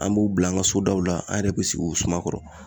An b'u bila an ga sodaw la an yɛrɛ be sigi u suma kɔrɔ